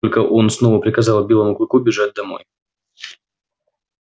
только он снова приказал белому клыку бежать домой